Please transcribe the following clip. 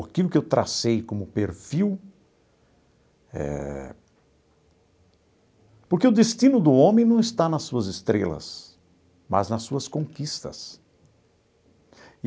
Aquilo que eu tracei como perfil eh... Porque o destino do homem não está nas suas estrelas, mas nas suas conquistas.